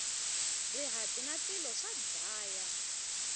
rihati na tilo swa dlaya